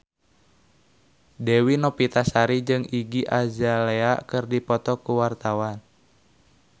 Dewi Novitasari jeung Iggy Azalea keur dipoto ku wartawan